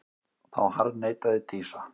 Þá harðneitaði Dísa.